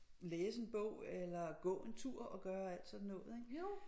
Læse en bog eller gå en tur og gøre alt sådan noget ik